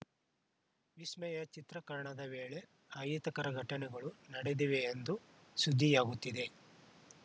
ವಿಸ್ಮಯ ಚಿತ್ರೀಕರಣದ ವೇಳೆ ಅಹಿತಕರ ಘಟನೆಗಳು ನಡೆದಿವೆ ಎಂದು ಸುದ್ದಿಯಾಗುತ್ತಿದೆ